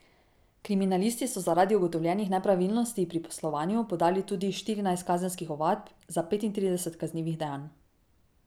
Kriminalisti so zaradi ugotovljenih nepravilnosti pri poslovanju podali tudi štirinajst kazenskih ovadb za petintrideset kaznivih dejanj.